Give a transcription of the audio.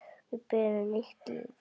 Við byrjum nýtt líf.